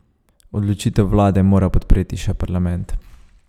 Odločitev vlade mora podpreti še parlament.